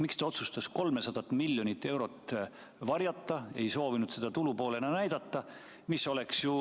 Miks ta otsustas 300 miljonit eurot varjata, ei soovinud seda tulupoolel näidata?